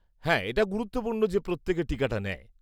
হ্যাঁ, এটা গুরুত্বপূর্ণ যে প্রত্যেকে টিকাটা নেয়।